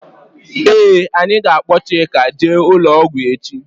Ee anyị ga -akpo Chika jee ụlọ ọgwụ echi.